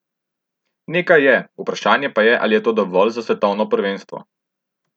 Nekaj je, vprašanje pa je, ali je to dovolj za svetovno prvenstvo.